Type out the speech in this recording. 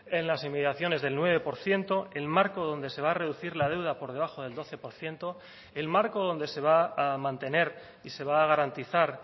en las inmediaciones del nueve por ciento el marco donde se va a reducir la deuda por debajo del doce por ciento el marco donde se va a mantener y se va a garantizar